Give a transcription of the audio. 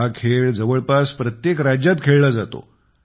हा खेळ जवळपास प्रत्येक राज्यात खेळला जातो